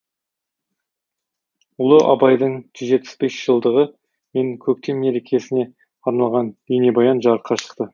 ұлы абайдың жүз жетпіс бес жылдығы мен көктем мерекесіне арналған бейнебаян жарыққа шықты